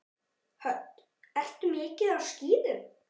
Hödd: Ertu mikið á skíðum?